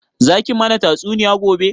Za ki mana tatsuniya gobe?